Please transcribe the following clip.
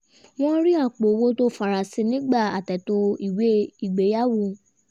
wọ́n rí apò owó tó farasin nígbà àtètò ìwé ìgbéyàwó